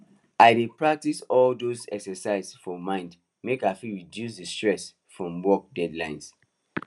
i dey practice all dose exercise for mind make i fit reduce the stress from work deadlines